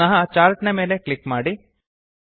ಪುನಃ ಚಾರ್ಟ್ ನ ಮೇಲೆ ಕ್ಲಿಕ್ ಮಾಡಿ